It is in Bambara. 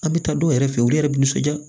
An bɛ taa dɔw yɛrɛ fɛ yen olu yɛrɛ bɛ nisɔndiya